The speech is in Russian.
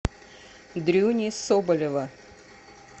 дрюни соболева